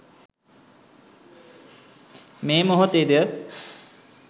මේ මොහොතේ ද